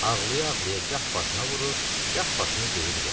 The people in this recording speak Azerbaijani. Ağlaya-ağlaya gah başına vurur, gah başını döyür yerə.